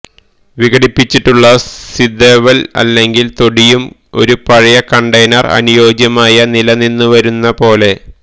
വിഘടിച്ചിട്ടുള്ള സിദെവല്ല് അല്ലെങ്കിൽ തൊട്ടിയും ഒരു പഴയ കണ്ടെയ്നർ അനുയോജ്യമായ നിലനിന്നുവരുന്ന പോലെ